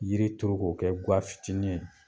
Yiri turu ko kɛ gafitinin ye